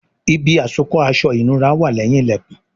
Ibi àsokọ́ aṣọ ìnura wà leyin ilẹkùn